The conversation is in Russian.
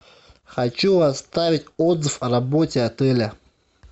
хочу оставить отзыв о работе отеля